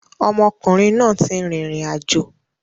Ọmọkùnrin náà ti rìnrìn àjò.